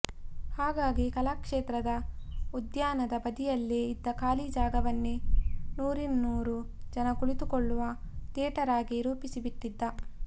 ಹಾಗಾಗಿ ಕಲಾಕ್ಷೇತ್ರದ ಉದ್ಯಾನದ ಬದಿಯಲ್ಲೇ ಇದ್ದ ಖಾಲಿ ಜಾಗವನ್ನೇ ನೂರಿನ್ನೂರು ಜನ ಕುಳಿತುಕೊಳ್ಳುವ ಥಿಯೇಟರ್ ಆಗಿ ರೂಪಿಸಿಬಿಟ್ಟಿದ್ದ